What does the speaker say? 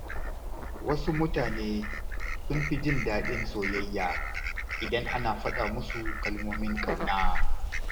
Wasu mutane sun fi jin daɗin soyayya idan ana faɗa musu kalmomin ƙauna.